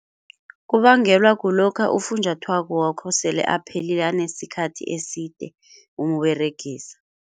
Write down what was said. Kubangelwa kulokha ufunjathwako wakho sele aphelile anesikhathi eside umberegisa.